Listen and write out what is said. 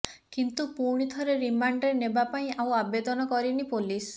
କିନ୍ତୁ ପୁଣି ଥରେ ରିମାଣ୍ଡରେ ନେବା ପାଇଁ ଆଉ ଆବେଦନ କରିନି ପୋଲିସ